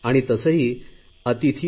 गणेशजींच्या विचारांचे मी स्वागत करतो